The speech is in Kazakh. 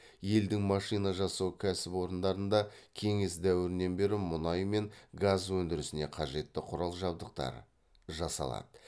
елдің машина жасау кәсіпорындарында кеңес дәуірінен бері мұнай мен газ өндірісіне қажетті құрал жабдықтар жасалады